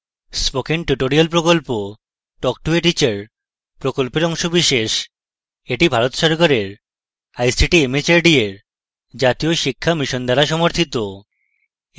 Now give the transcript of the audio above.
spoken tutorial talk to a teacher প্রকল্পের অংশবিশেষ যা ভারত সরকারের আইসিটি mhrd এর জাতীয় শিক্ষা mission দ্বারা সমর্থিত